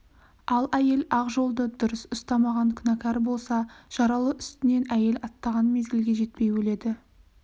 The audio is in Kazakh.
ал әйел ақ жолды дұрыс ұстамаған күнәкар болса жаралы үстінен әйел аттаған мезгілге жетпей өледі